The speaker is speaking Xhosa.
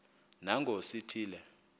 nangona sithi le